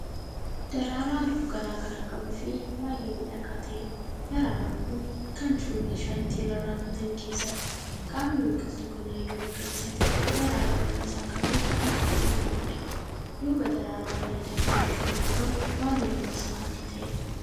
Daraaraa halluu garagaraa qabuufi baay'ee miidhagaa ta'eedha. daraaraan Kuni Kan jiru meeshaa ittiin rarraafatan keessadha. qaamni biqiltuu kanaa yoo magariisa ta'u daraarawwan Isaa garuu adiifi diimaadha duuba daraaraa bareedaa kanaatti Kan argamu waan halluun Isaa adii ta'eedha